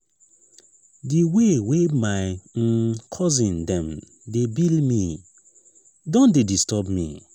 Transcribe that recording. di way way my um cousin dem dey bill me don dey disturb me.